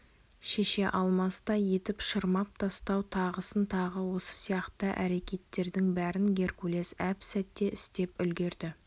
шеше алмастай етіп шырмап тастау тағысын тағы осы сияқты әрекеттердің бәрін геркулес әп-сәтте істеп үлгіреді